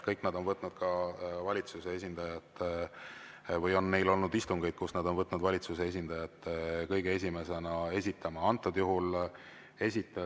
Kõigil neil on olnud istungeid, kus nad on võtnud valitsuse esindaja kõige esimesena esitama.